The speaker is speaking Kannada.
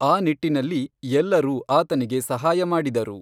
ಆ ನಿಟ್ಟಿನಲ್ಲಿ ಎಲ್ಲರೂ ಆತನಿಗೆ ಸಹಾಯ ಮಾಡಿದರು.